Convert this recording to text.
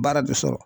Baara bɛ sɔrɔ